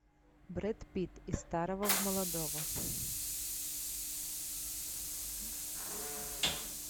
бред питт из старого в молодого